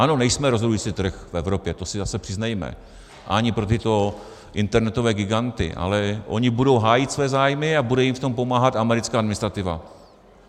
Ano, nejsme rozhodující trh v Evropě, to si zase přiznejme, ani pro tyto internetové giganty, ale oni budou hájit svoje zájmy a bude jim v tom pomáhat americká administrativa.